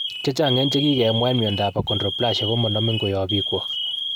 Chechang en chekigemwa en miondap achondroplasia komanamin koyap pikwok.